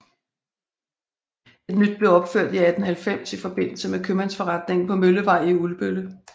Et nyt blev opført i 1890 i forbindelse med købmandsforretningen på Møllevej i Ulbølle